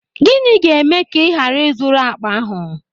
Gịnị ga-eme ka ị ghara ị zụrụ akpa ahụ?